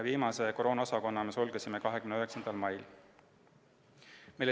Viimase koroonaosakonna sulgesime 29. mail.